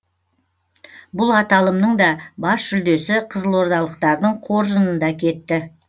бұл аталымның да бас жүлдесі қызылордалықтардың қоржынында кетті